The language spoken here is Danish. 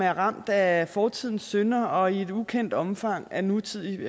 er ramt af fortidens synder og i et ukendt omfang af nutidig